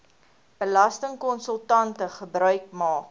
belastingkonsultante gebruik maak